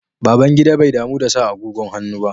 Babangida bai damu da sa agogon hannu ba.